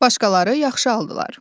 Başqaları yaxşı aldılar.